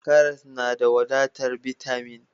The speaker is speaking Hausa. Karas na da wadatar bitamin.